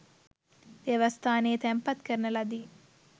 දේවස්ථානයේ තැන්පත් කරන ලදී